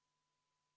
Head ametikaaslased!